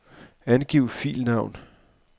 Angiv filnavn.